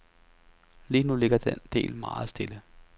Lige nu ligger den del meget stille.